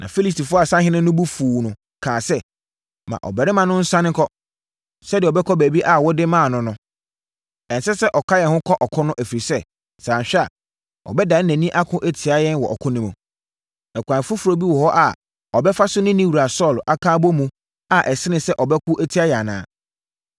Na Filistifoɔ asahene no bo fuu no kaa sɛ, “Ma ɔbarima no nsane nkɔ, sɛdeɛ ɔbɛkɔ baabi a wode maa no no. Ɛnsɛ sɛ ɔka yɛn ho kɔ ɔko no, ɛfiri sɛ, sɛ anhwɛ a, ɔbɛdane nʼani ako atia yɛn wɔ ɔko no mu. Ɛkwan foforɔ bi wɔ hɔ a ɔbɛfa so ne ne wura Saulo aka abɔ mu a ɛsene sɛ ɔbɛko atia yɛn anaa?